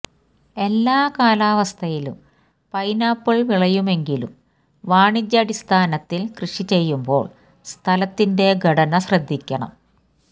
എല്ലാ കാലാവസ്ഥയിലും പൈനാപ്പിൾ വിളയുമെങ്കിലും വാണിജ്യാടിസ്ഥാനത്തിൽ കൃഷി ചെയ്യുമ്പോൾ സ്ഥലത്തിന്റെ ഘടന ശ്രദ്ധിക്കണം